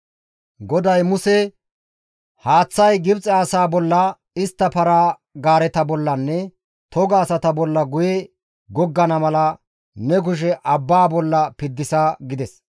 GODAY Muse, «Haaththay Gibxe asaa bolla, istta para-gaareta bollanne toga asata bolla guye goggana mala ne kushe abbaa bolla piddisa» gides.